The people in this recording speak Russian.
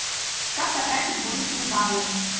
как потратить бонусные баллы